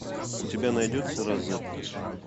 у тебя найдется розетта